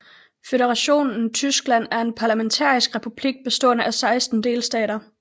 Føderationen Tyskland er en parlamentarisk republik bestående af 16 delstater